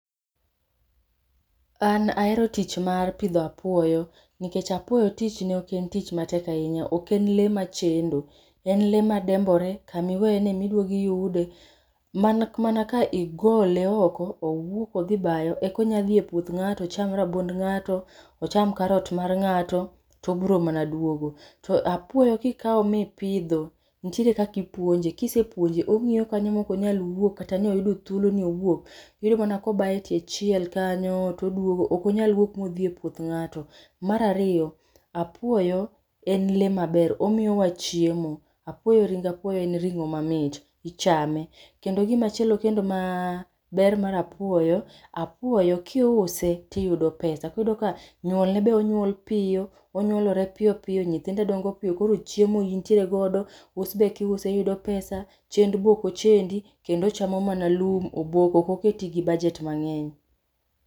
An ahero tich mar pidho apuoyo nikech apuoyo tichne ok en tich matek ahinya. Ok en lee machendo. En lee madembore. Kama iweye no emiduogo iyude. Mana ka igole oko, owuok odhi bayo eka onya dhi epuoth ng'ato ocham rabuond ng'ato, ocham karot mar ng'ato, to obiro mana duogo. To apuoyo kikao mipidho, nitiere kaka ipuonje. Kisepuonje ong'iyo kanyo ma okonyal wuok kata ni oyudo thuolo ni owuok. Iyudo mana kobayo e tie chiel kanyo toduogo. Ok onyal wuok modhi e puoth ng'ato. Mar ariyo, apuoyo en lee maber, omiyo wa chiemo. Apuoyo ring apuoyo en ring'o mamit. Ichame. Kendo gimachielo kendo ma ber mar apuoyo, apuoyo kiuse, tiyudo pesa. Koro iyudo ka nyuolne be onyuol piyo, onyuolore piyo piyo, nyithinde dongo piyo, koro chiemo intiere godo, us be kiuse iyudo pesa, chendo be ok ochendi. Kendo ochamo mana lum, oboke, ok oketi gi budget mang'eny.